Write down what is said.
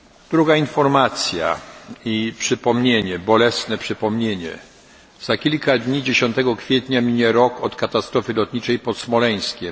Druga informacja i jednocześnie bolesne przypomnienie za kilka dni, 10 kwietnia mija rok od katastrofy lotniczej pod Smoleńskiem.